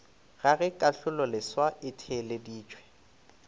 ga ge kahlololeswa e theeleditšwe